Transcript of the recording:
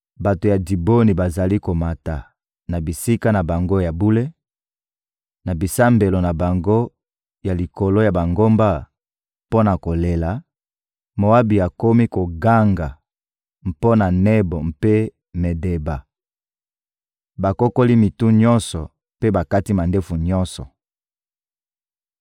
Bato ya Diboni bazali komata na bisika na bango ya bule, na bisambelo na bango ya likolo ya bangomba, mpo na kolela; Moabi akomi koganga mpo na Nebo mpe Medeba. Bakokoli mito nyonso mpe bakati mandefu nyonso.